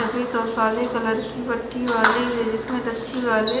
सफेद और काले कलर की पट्टी वाली है जिसमें रस्सी वाले--